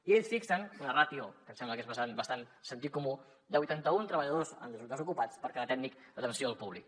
i ells fixen una ràtio que em sembla que és bastant de sentit comú de vuitanta un treballadors desocupats per cada tècnic d’atenció al públic